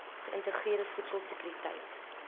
geïntegreerde voedsel sekuriteit